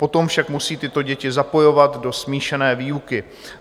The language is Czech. Potom však musí tyto děti zapojovat do smíšené výuky.